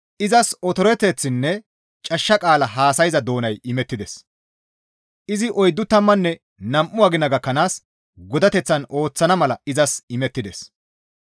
Izas otoreteththinne cashsha qaala haasayza doonay imettides; izi oyddu tammanne nam7u agina gakkanaas godateththan ooththana mala izas imettides.